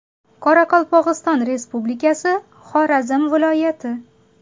Qoraqalpog‘iston Respublikasi, Xorazm viloyati.